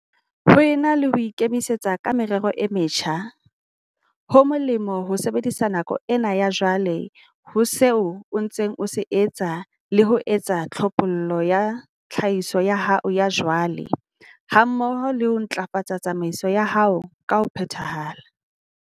Ho ena le ho ikimetsa ka merero e metjha, ho molemo ho sebedisa nako ena ya jwale ho seo o ntseng o se etsa le ho etsa tlhophollo ya tlhahiso ya hao ya jwale hammoho le ho ntlafatsa tsamaiso ya hao ka ho phethahala.